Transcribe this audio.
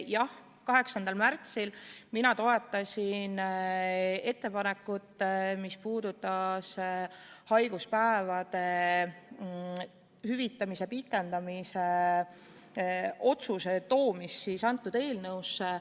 Jah, 8. märtsil ma toetasin ettepanekut, mis puudutas haiguspäevade hüvitamise pikendamise otsuse toomist sellesse eelnõusse.